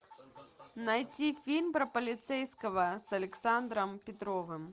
найти фильм про полицейского с александром петровым